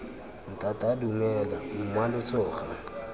ntata dumela mma lo tsoga